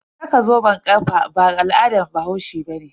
Saka zoben kafa ba al'adan bahaushe bane.